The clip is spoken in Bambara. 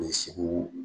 O ye segu